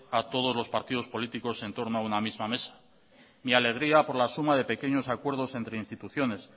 a todos los partidos políticos en torno a una misma mesa mi alegría por la suma de pequeños acuerdos entre instituciones